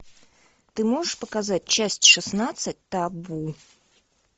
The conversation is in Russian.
ты можешь показать часть шестнадцать табу